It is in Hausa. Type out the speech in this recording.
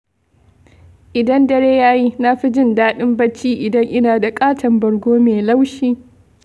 Idan dare ya yi, na fi jin daɗin bacci idan ina da ƙaton bargo mai laushi.